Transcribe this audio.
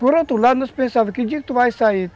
Por outro lado, nós pensávamos, que dia que tu vai sair?